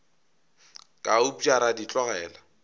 ka upša ra di tlogela